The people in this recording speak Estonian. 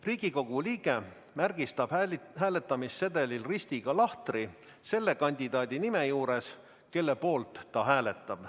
Riigikogu liige märgistab hääletamissedelil ristiga lahtri selle kandidaadi nime juures, kelle poolt ta hääletab.